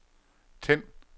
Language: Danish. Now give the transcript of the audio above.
tænd